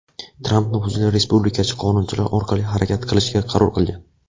Tramp nufuzli respublikachi qonunchilar orqali harakat qilishga qaror qilgan.